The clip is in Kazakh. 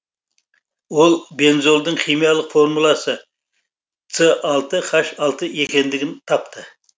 ол бензолдың химиялық формуласы цэ алты хаш алты екендігін тапты